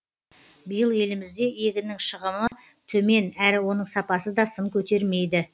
биыл елімізде егіннің шығымы төмен әрі оның сапасы да сын көтермейді